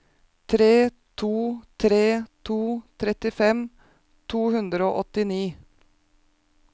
tre to tre to trettifem to hundre og åttini